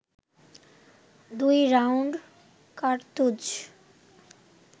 দুই রাউন্ড কার্তুজ